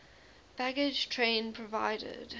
baggage train provided